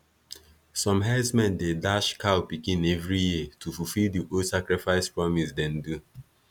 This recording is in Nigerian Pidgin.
some herdsmen dey dash cow pikin every year to fulfill the old sacrifice promise them do